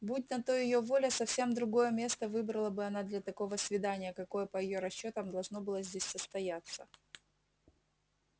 будь на то её воля совсем другое место выбрала бы она для такого свидания какое по её расчётам должно было здесь состояться